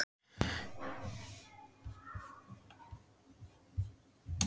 Setja skóna á hilluna?